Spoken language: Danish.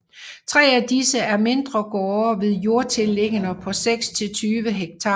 Tre af disse er mindre gårde med jordtilliggende på 6 til 20 Ha